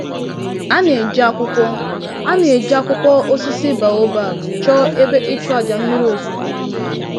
A na-eji akwụkwọ A na-eji akwụkwọ osisi baobab chọọ ebe ịchụàjà mmiri ozuzo mma